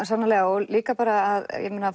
sannarlega og líka bara að